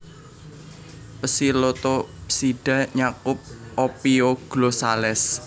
Psilotopsida nyakup Ophioglossales